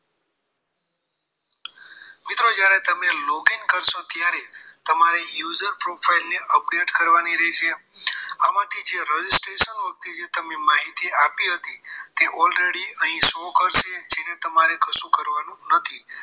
મિત્ર જ્યારે તમે logging કરશો ત્યારે તમારી user profile update કરવાની રહેશે આમાંથી જે registration વખતે તમે જે માહિતી આપી હતી તે already show કરશે જેને તમારે કશું કરવાનું નથી